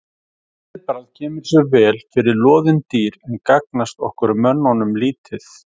Þetta viðbragð kemur sér vel fyrir loðin dýr en gagnast okkur mönnunum lítið.